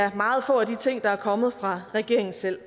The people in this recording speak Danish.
at meget få af de ting er kommet fra regeringen selv